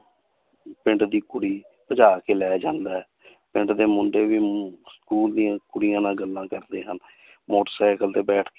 ਪਿੰਡ ਦੀ ਕੁੜੀ ਭਜਾ ਕੇ ਲੈ ਜਾਂਦਾ ਹੈ ਪਿੰਡ ਦੇ ਮੁੰਡੇ ਵੀ school ਦੀਆਂ ਕੁੜੀਆਂ ਨਾਲ ਗੱਲਾਂ ਕਰਦੇ ਹਨ ਮੋਟਰ ਸਾਇਕਲ ਤੇ ਬੈਠ,